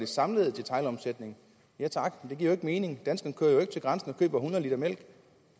samlede detailomsætning men det giver jo ikke mening danskerne kører jo ikke til grænsen og køber hundrede l mælk